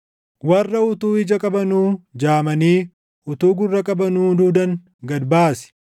Warra utuu ija qabanuu jaamanii utuu gurra qabanuu duudan gad baasi.